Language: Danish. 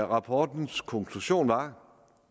rapportens konklusion var